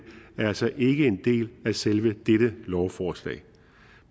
er altså ikke en del af selve dette lovforslag